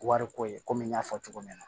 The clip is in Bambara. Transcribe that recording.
Wariko ye komi n y'a fɔ cogo min na